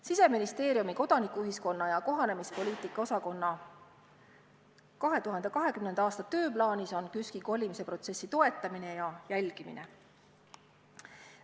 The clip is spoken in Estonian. Siseministeeriumi kodanikuühiskonna ja kohanemispoliitika osakonna 2020. aasta tööplaanis on KÜSK-i kolimisprotsessi toetamine ja jälgimine.